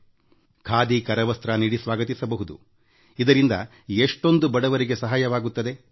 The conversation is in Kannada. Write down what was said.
ಇಲ್ಲ ಖಾದಿ ಕರವಸ್ತ್ರ ನೀಡಿ ಸ್ವಾಗತಿಸಬಹುದುಇದರಿಂದ ಎಷ್ಟೊಂದು ಬಡವರಿಗೆ ಸಹಾಯವಾಗುತ್ತದೆ